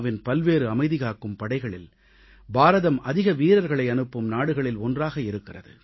win பல்வேறு அமைதிகாக்கும் படைகளில் பாரதம் அதிக வீரர்களை அனுப்பும் நாடுகளில் ஒன்றாக இருக்கிறது